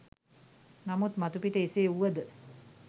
නමුත් මතුපිට එසේ වුවද